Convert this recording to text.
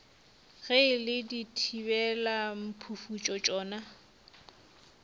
ge e le dithibelamphufutšo tšona